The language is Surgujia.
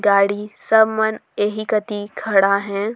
गाड़ी सब मन एही कोती खड़ा हे।